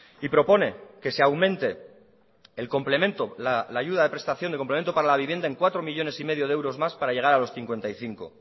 y propone que se aumente el complemento la ayuda de prestación de complemento para la vivienda en cuatro millónes y medio de euros más para llegar a los cincuenta y cinco